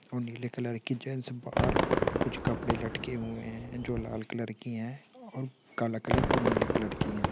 ओ नीले कलर की से बाहर कुछ कपड़े लटके हुए हैं जो लाल कलर की हैं और काला कलर और नीले कलर की हैं।